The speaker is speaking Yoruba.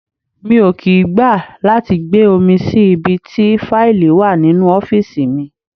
Mi ò kì í gbà láti gbé omi sí ibi tí faili wà nínú ọ́fíìsì mi.